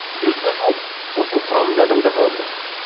жүзге жуық осының құрамында адамдар болды